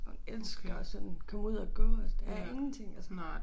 Hun elsker at sådan komme ud at gå og der ingenting altså